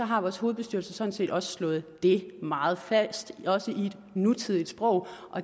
har vores hovedbestyrelse sådan set også slået det meget fast også i et nutidigt sprog